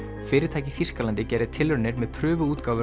fyrirtæki í Þýskalandi gerði tilraunir með